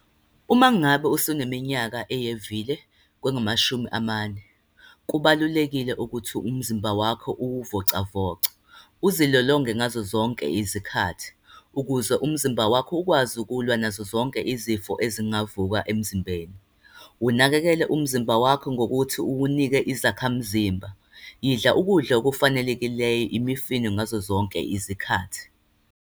Uma ngabe usuneminyaka eyevile kwengamashumi amane, kubalulekile ukuthi umzimba wakho uwuvocavoce, uzilolonge ngazo zonke izikhathi, ukuze umzimba wakho ukwazi ukulwa nazo zonke izifo ezingavuka emzimbeni. Unakekele umzimba wakho ngokuthi uwunike izakhamzimba. Idla ukudla okufanelekileyo, imifino ngazo zonke izikhathi.